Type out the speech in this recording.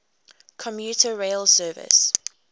commuter rail service